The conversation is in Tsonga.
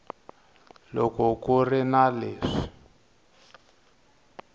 loko ku ri na leswi